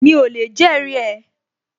Mi ò lè jẹ́rìí ẹ